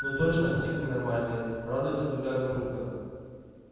ну точно псих ненормальный радуется другая бабулька